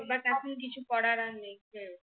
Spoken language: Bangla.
but আপনি কিছু করার আগে